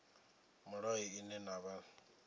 ya mulayo ine na vha